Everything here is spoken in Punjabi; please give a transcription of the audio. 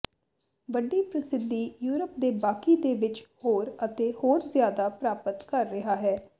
ਵੱਡੀ ਪ੍ਰਸਿੱਧੀ ਯੂਰਪ ਦੇ ਬਾਕੀ ਦੇ ਵਿੱਚ ਹੋਰ ਅਤੇ ਹੋਰ ਜਿਆਦਾ ਪ੍ਰਾਪਤ ਕਰ ਰਿਹਾ ਹੈ